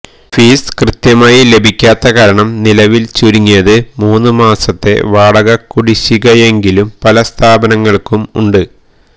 fees കൃത്യമായി ലഭിക്കാത്ത കാരണം നിലവില് ചുരുങ്ങിയത് മൂന്ന് മാസത്തെ വാടകക്കുടിശ്ശികയെങ്കിലും പല സ്ഥാപനങ്ങള്ക്കും ഉണ്ട്